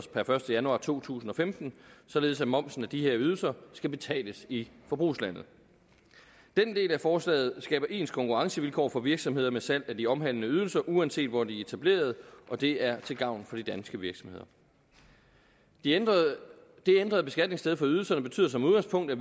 per første januar to tusind og femten således at momsen af de her ydelser skal betales i forbrugslandet den del af forslaget skaber ens konkurrencevilkår for virksomheder med salg af de omhandlede ydelser uanset hvor de er etableret og det er til gavn for de danske virksomheder det ændrede ændrede beskatningssted for ydelserne betyder som udgangspunkt at